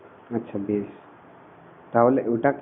আচ্ছা বেশ তাহলে ওটা